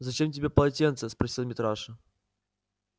зачем тебе полотенце спросил митраша